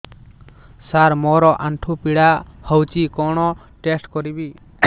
ସାର ମୋର ଆଣ୍ଠୁ ପୀଡା ହଉଚି କଣ ଟେଷ୍ଟ କରିବି